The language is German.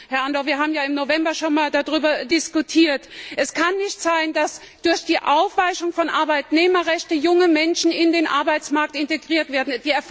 Herr Andor, wir haben ja im November 2010 schon einmal darüber diskutiert Es kann nicht sein, dass durch die Aufweichung von Arbeitnehmerrechten junge Menschen in den Arbeitsmarkt integriert werden.